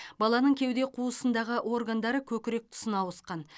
баланың кеуде қуысындағы органдары көкірек тұсына ауысқан